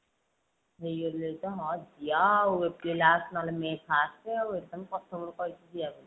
ହେଇଗଲାଣି ତ ହଁ ଯିବା ଆଉ april last ନହେଲେ may first ଆଉ ଏଟା ମୁ ପ୍ରଥମ ରୁ କହିଛି ଯିବାକୁ।